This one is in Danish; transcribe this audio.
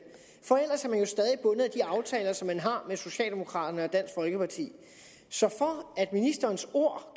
for af de aftaler som den har med socialdemokraterne og dansk folkeparti så for at ministerens ord